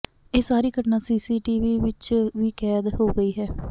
ਇਹ ਸਾਰੀ ਘਟਨਾ ਸੀਸੀਟੀਵੀ ਵਿੱਚ ਵੀ ਕੈਦ ਹੋ ਗਈ ਹੈ